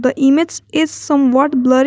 The image is some what blurry --